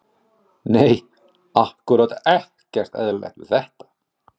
Nei ákkúrat ekkert eðlilegt við þetta.